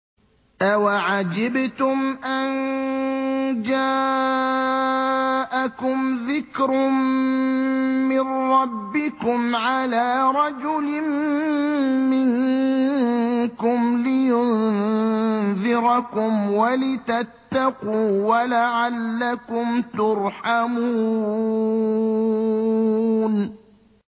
أَوَعَجِبْتُمْ أَن جَاءَكُمْ ذِكْرٌ مِّن رَّبِّكُمْ عَلَىٰ رَجُلٍ مِّنكُمْ لِيُنذِرَكُمْ وَلِتَتَّقُوا وَلَعَلَّكُمْ تُرْحَمُونَ